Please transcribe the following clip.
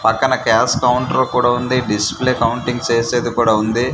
పక్కన cash counter కూడా ఉంది డిస్ప్లే కౌంటింగ్ సేసేది కూడా ఉంది.